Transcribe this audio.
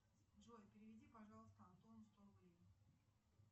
джой переведи пожалуйста антону сто рублей